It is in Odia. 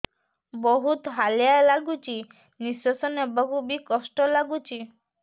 ବହୁତ୍ ହାଲିଆ ଲାଗୁଚି ନିଃଶ୍ବାସ ନେବାକୁ ଵି କଷ୍ଟ ଲାଗୁଚି